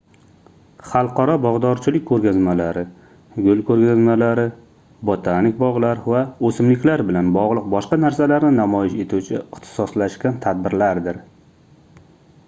xalqaro bogʻdorchilik koʻrgazmalari gul koʻrgazmalari botanik bogʻlar va oʻsimliklar bilan bogʻliq boshqa narsalarni namoyish etuvchi ixtisoslashgan tadbirlardir